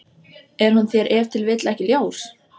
Er hún þér ef til vill ekki ljós?